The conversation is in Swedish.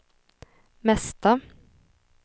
mesta